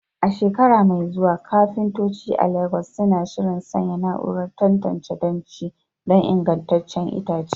A shekara mai zuwa, kafintoci a Legas suna shirin sanya na'urar tantance danshi don ingantaccen itace.